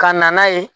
Ka na n'a ye